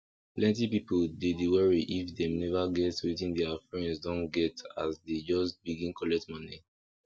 plenty people dey dey worry if dem never get wetin their friends don get as dey just begin collect money